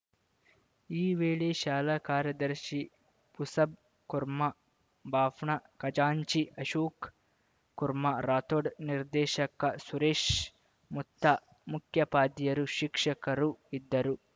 ಈ ವೇಳೆ ಶಾಲಾ ಕಾರ್ಯದರ್ಶಿ ಪುಸಬ್‌ ಕುರ್ಮಾ ಭಾಫ್ನ ಖಜಾಂಚಿ ಅಶೋಕ್‌ ಕುರ್ಮಾ ರಾಥೋಡ್‌ ನಿರ್ದೇಶಕ ಸುರೇಶ್‌ ಮುತ್ತ ಮುಖ್ಯೋಪಾದ್ಯಾಯರು ಶಿಕ್ಷಕರು ಇದ್ದರು